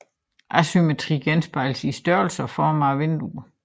Asymmetrien genspejles i størrelsen og formen af vinduerne